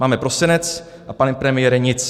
Máme prosinec, a pane premiére, nic.